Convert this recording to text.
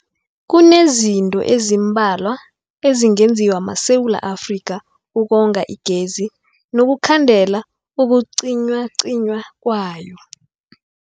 Kunezinto ezimbalwa ezingenziwa maSewula Afrika ukonga igezi nokukhandela ukucinywacinywa kwayo.